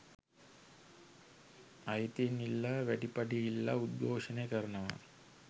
අයිතීන් ඉල්ලා වැඩි පඩි ඉල්ලා උද්ඝෝශනය කරනවා